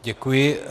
Děkuji.